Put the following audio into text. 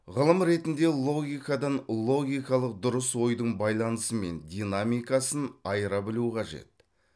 ғылым ретінде логикадан логикалық дұрыс ойдың байланысы мен динамикасын айыра білу қажет